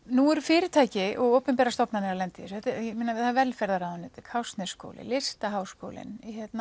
nú eru fyrirtæki og opinberar stofnanir að lenda í þessu velferðarráðuneytið Listaháskólinn